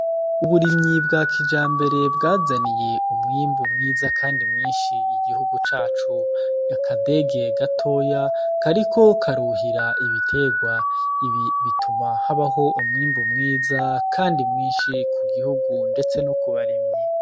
Uburimyi bwa kijambere bwazaniye umwimbu mwiza kandi mwinshi igihugu cacu. Ni akadege gatoya kariko karuhira ibiterwa. Ibi bituma habaho umwimbu mwiza kandi mwishu ku gihugu ndetse no kubarimyi.